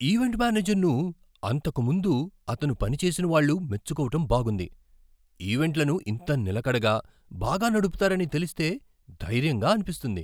Event మేనేజర్ను అంతకు ముందు అతను పనిచేసిన వాళ్ళు మెచ్చుకోవటం బాగుంది. ఈవెంట్లను ఇంత నిలకడగా బాగా నడపుతారని తెలిస్తే ధైర్యంగా అనిపిస్తుంది.